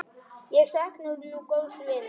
Ég sakna nú góðs vinar.